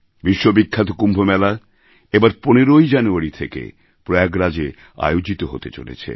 বিশ্ব বিখ্যাত কুম্ভ মেলা এবার ১৫জানুয়ারি থেকে প্রয়াগরাজএ আয়োজিত হতে চলেছে